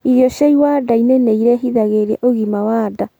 Irio cia iwanda-ini niirehithagirirĩa ũgima wa ndaa